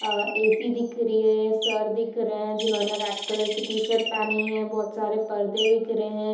अ AC. दिख रही है | सर दिख रहे हैं जिन्होंने रेड कलर की टी -शर्ट पहनी है | बोहोत सारे परदे दिख रहे हैं |